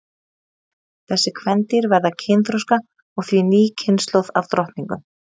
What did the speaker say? þessi kvendýr verða kynþroska og því ný kynslóð af drottningum